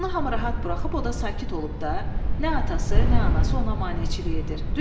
Ona hamı rahat buraxıb, o da sakit olub da, nə atası, nə anası ona maneçilik edir.